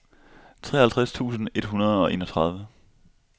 treoghalvtreds tusind et hundrede og enogtredive